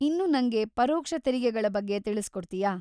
ಇನ್ನು ನಂಗೆ ಪರೋಕ್ಷ ತೆರಿಗೆಗಳ ಬಗ್ಗೆ ತಿಳಿಸ್ಕೊಡ್ತೀಯಾ?